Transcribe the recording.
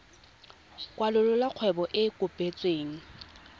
kwalolola kgwebo e e kopetsweng